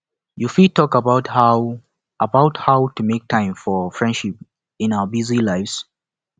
you fit talk about how about how to make time for friendships in our busy lives